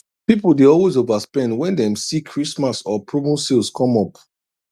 people dey always overspend when dem see christmas or promo sales come up